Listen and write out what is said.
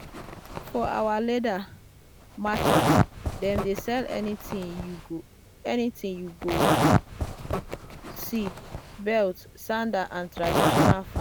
for our leather market dem dey sell anything you go see belt sandal and.